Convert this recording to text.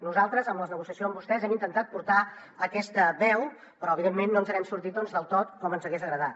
nosaltres en la negociació amb vostès hem intentat portar aquesta veu però evidentment no ens n’hem sortit del tot com ens hagués agradat